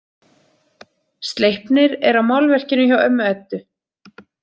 Sleipnir er á málverkinu hjá ömmu Eddu.